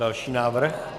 Další návrh.